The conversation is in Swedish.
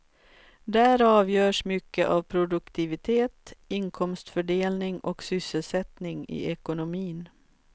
Där avgörs mycket av produktivitet, inkomstfördelning och sysselsättning i ekonomin.